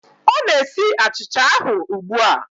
Ọ na-esi achicha ahụ ugbu a